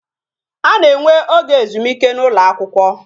A na-enwe oge ezumike n'ụlọ akwụkwọ